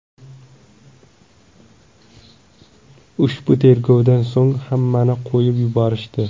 Ushbu tergovdan so‘ng hammani qo‘yib yuborishdi.